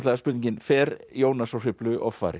spurningin fer Jónas frá Hriflu offari